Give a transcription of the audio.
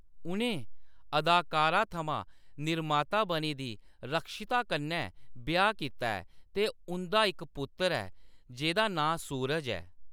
उʼनें अदाकारा थमां निर्माता बनी दी रक्षिता कन्नै ब्याह्‌‌ कीता ऐ ते उंʼदा इक पुत्तर ऐ जेह्‌दा नांऽ सूरज ऐ।